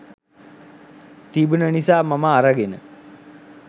තිබුන නිසා මම අරගෙන